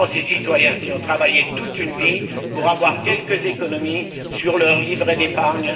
Je comprends ces citoyens qui ont travaillé toute une vie pour avoir quelques économies sur leur livret d'épargne.